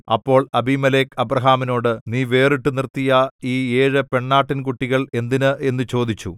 അപ്പോൾ അബീമേലെക്ക് അബ്രാഹാമിനോട് നീ വേറിട്ടു നിർത്തിയ ഈ ഏഴു പെണ്ണാട്ടിൻകുട്ടികൾ എന്തിന് എന്നു ചോദിച്ചു